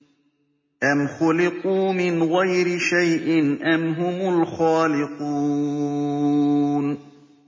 أَمْ خُلِقُوا مِنْ غَيْرِ شَيْءٍ أَمْ هُمُ الْخَالِقُونَ